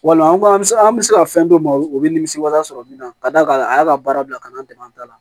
Wala an bɛ se an bɛ se ka fɛn dɔ ma o bɛ nimisi wasa sɔrɔ min na ka d'a kan a y'a ka baara bila ka na an dɛmɛ an ta la